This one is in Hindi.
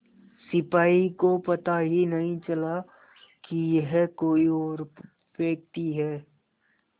सिपाही को पता ही नहीं चला कि यह कोई और व्यक्ति है